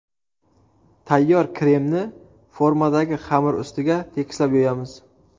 Tayyor kremni formadagi xamir ustiga tekislab yoyamiz.